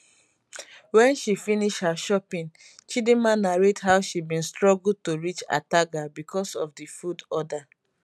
wen she finish her shopping chidinma narrate how she bin struggle to reach ataga becos of di food order